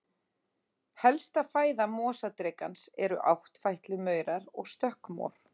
Helsta fæða mosadrekans eru áttfætlumaurar og stökkmor.